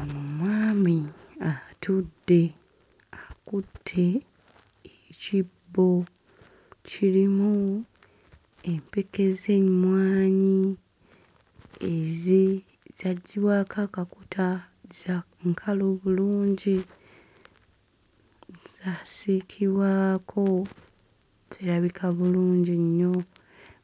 Ono mwami atudde akutte ekibbo kirimu empeke z'emmwanyi ez'e zaggyibwako akakuta za nkalu bulungi zaasiikibwako zirabika bulungi nnyo